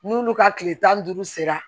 N'olu ka tile tan ni duuru sera